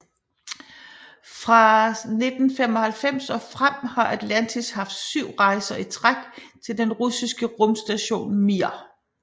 Fra 1995 og frem har Atlantis haft syv rejser i træk til den russiske rumstation Mir